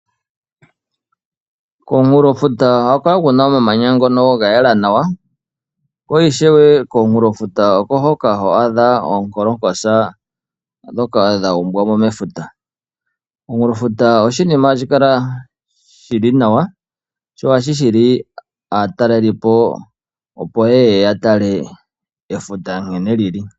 Komunkulofuta ohaku kala kuna omamanya ngono ga yela nawa ko ishewe Komunkulofuta oko hoka ho adha oonkolokosa ndhoka dhu umbwamo mefuta . Omunkulofuta oshinima hashi kala shili nawa sho ohashi hili aatalelipo opo yeye ya tale efuta nkene lili.